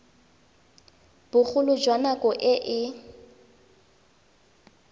bogolo jwa nako e e